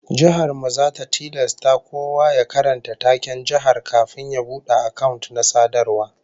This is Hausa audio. Jihar mu zata tilasta kowa ya karanta taken jihar kafin ya bude account na sadarwa